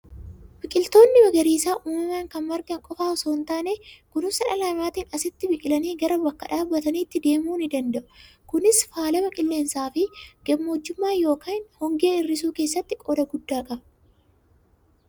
Biqiltoonni magariisaa uumamaan kan margan qofaa osoo hin taane, kunuunsa dhala namaatiin asitti biqilanii gara bakka dhaabatanii deemuu ni danda'u. Kuni faalama qilleensaa fi gammoojjummaa yookiin hongee hir'isuu keessatti qooda guddaa qaba!